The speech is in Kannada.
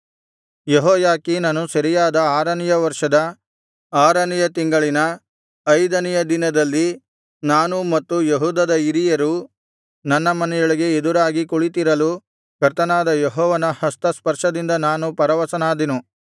ಯೆಹೋಯಾಖೀನನು ಸೆರೆಯಾದ ಆರನೆಯ ವರ್ಷದ ಆರನೆಯ ತಿಂಗಳಿನ ಐದನೆಯ ದಿನದಲ್ಲಿ ನಾನೂ ಮತ್ತು ಯೆಹೂದದ ಹಿರಿಯರೂ ನನ್ನ ಮನೆಯೊಳಗೆ ಎದುರಾಗಿ ಕುಳಿತಿರಲು ಕರ್ತನಾದ ಯೆಹೋವನ ಹಸ್ತಸ್ಪರ್ಶದಿಂದ ನಾನು ಪರವಶನಾದೆನು